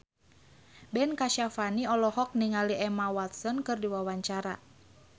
Ben Kasyafani olohok ningali Emma Watson keur diwawancara